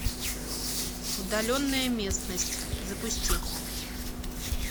удаленная местность запусти